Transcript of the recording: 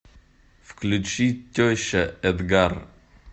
включи теща эдгар